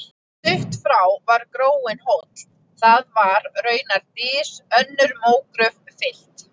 Stutt frá var gróinn hóll, það var raunar dys, önnur mógröf fyllt.